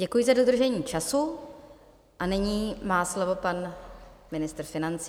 Děkuji za dodržení času a nyní má slovo pan ministr financí.